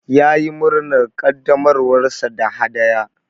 Ya yi murnar ƙaddamarwar sa da hadaya.